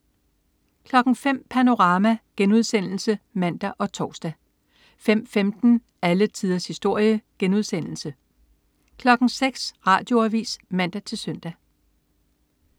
05.00 Panorama* (man og tors) 05.15 Alle tiders historie* 06.00 Radioavis (man-søn)